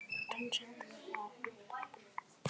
Það segir mikið.